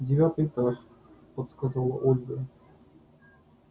девятый этаж подсказала ольга